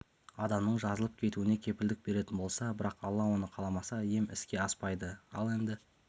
адамның жазылып кетуіне кепілдік беретін болса бірақ алла оны қаламаса ем іске аспайды ал енді